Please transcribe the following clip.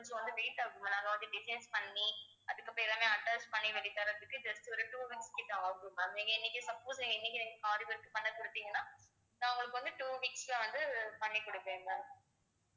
கொஞ்சம் வந்து late ஆகும் ma'am வந்து design பண்ணி அதுக்கு அப்புறம் எல்லாமே attach பண்ணி தர்றத்துக்கு just ஒரு two months கிட்ட ஆகும் ma'am நீங்க இன்னிக்கே suppose இன்னிக்கே aari work க்கு பண்ண குடுத்தீங்கனா நான் உங்களுக்கு two weeks ல வந்து பண்ணி கொடுப்பேன் ma'am